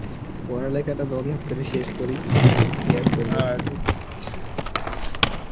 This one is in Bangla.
ওহার লেইগা করে শেষ করি কি আর করব